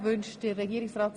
Wünscht Regierungsrat